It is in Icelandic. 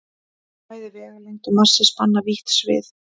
Bæði vegalengd og massi spanna vítt svið.